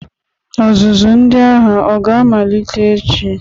Ọzụzụ ndị agha o ga-amalite echi?